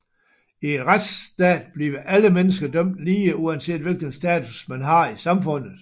I en retsstat bliver alle mennesker dømt lige uanset hvilken status man har i samfundet